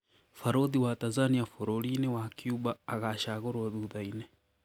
Barũthi wa Tanzania bũrũri-inĩ wa Cuba agacagũrwo thutha-inĩ.